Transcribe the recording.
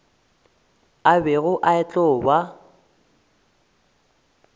a bego a tlo ba